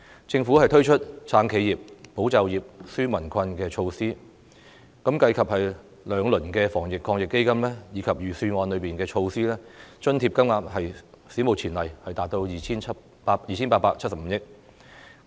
政府推出"撐企業、保就業、紓民困"的措施，計及兩輪防疫抗疫基金，以及預算案中的措施，津貼金額史無前例達到 2,875 億元。